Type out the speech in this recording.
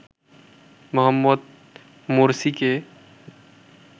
Mohammad মোরসিকে